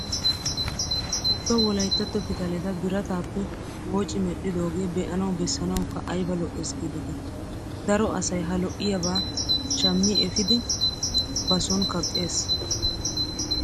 Wogga wolayittatto pitaleta biratappe wooci medhdhoogee be'anawu bessanawukka ayiba lo'ees giideti. Daro asayi ha lo'iyaabaa shammi efiidi ba son kaqqes.